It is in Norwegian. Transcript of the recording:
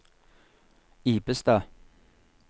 Ibestad